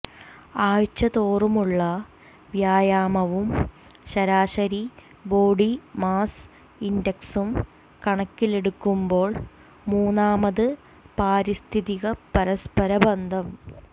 ആഴ്ചതോറുമുള്ള വ്യായാമവും ശരാശരി body mass ഇൻഡക്സും കണക്കിലെടുക്കുമ്പോൾ മൂന്നാമത് പാരിസ്ഥിതിക പരസ്പര ബന്ധം